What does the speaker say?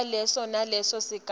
kwaleso naleso sigaba